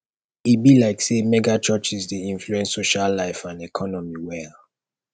e be like say megachurches dey influence social life and economy well